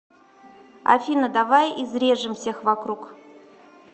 афина давай изрежем всех вокруг